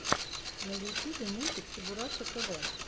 на ютьюбе мультик чебураша тв